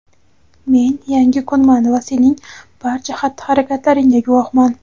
men yangi kunman va sening barcha xatti-harakatingga guvohman.